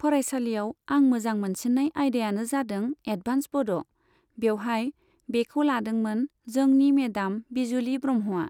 फरायसालियाव आं मोजां मोनसिननाय आयदायानो जादों एदभान्स बड', बेवहाय बेखौ लादोंमोन जोंनि मेदाम बिजुलि ब्रह्मआ।